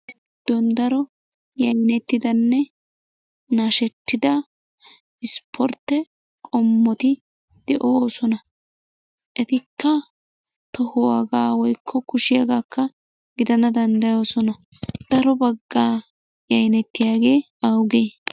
Daro yaayinettidanne nashshettida ispportte qommotti de'ossona ettika tohuwagakka woykko kushshiyagakka giddana dandayoosona. Daro bagga yayinettiyage aawugee?